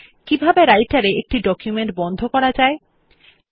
কিভাবে রাইটের এ একটি ডকুমেন্ট বন্ধ করা যায়